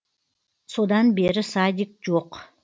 содан бері садик жоқ